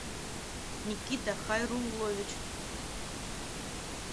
никита хайруллович